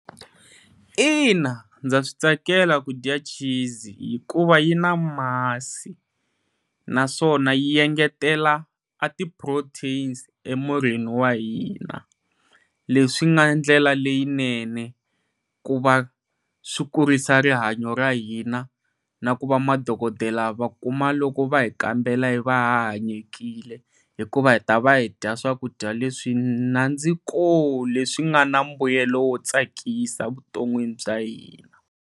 Ina ndza switsakela kudya cheese, hikuva yi na masi naswona yi engetela a ti proteins emirini wa hina leswi nga ndlela leyinene ku va swi kurisa rihanyo ra hina na ku va madokodela va kuma loko va hi kambela hi va ha hanyekile hikuva hi ta va hi dya swakudya leswi nandzika leswi swi nga na mbuyelo wo tsakisa vuton'wini bya hina.